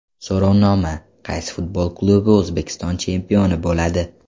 So‘rovnoma: Qaysi futbol klubi O‘zbekiston chempioni bo‘ladi?.